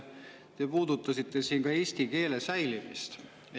Te puudutasite siin ka eesti keele säilimist.